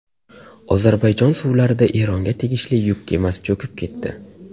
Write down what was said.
Ozarbayjon suvlarida Eronga tegishli yuk kemasi cho‘kib ketdi.